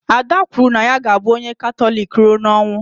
Ada kwuru na ya ga abụ onye Katọlik rụọ n'ọnwụ